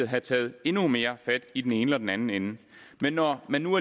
have taget endnu mere fat i den ene eller den anden ende men når man nu